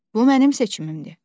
Bu mənim seçimimdir.